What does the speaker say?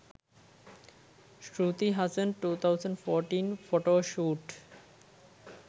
shruti hassan 2014 photoshoot